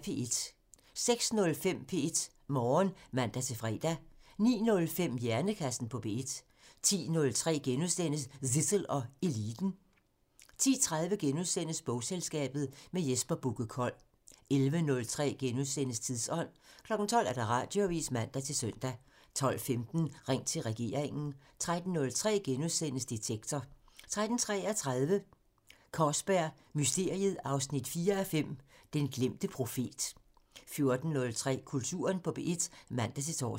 06:05: P1 Morgen (man-fre) 09:05: Hjernekassen på P1 (man) 10:03: Zissel og Eliten *(man) 10:30: Bogselskabet – med Jesper Bugge Kold * 11:03: Tidsånd *(man) 12:00: Radioavisen (man-søn) 12:15: Ring til regeringen (man) 13:03: Detektor *(man) 13:33: Kaarsberg Mysteriet 4:5 – Den glemte profet 14:03: Kulturen på P1 (man-tor)